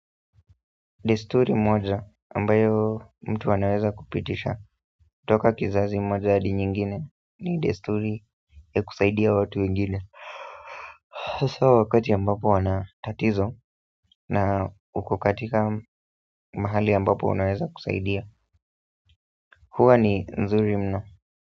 Desturi moja ambayo mtu anaweza kupitisha toka kizazi moja hadi nyingine ni desturi ya kusaidia watu wengine haswa wakati ambapo wana tatizo na uko katika mahali ambapo unaweza kusaidia hua ni nzuri mno.